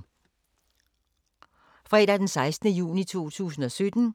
Fredag d. 16. juni 2017